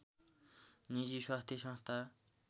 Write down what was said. निजी स्वास्थ संस्था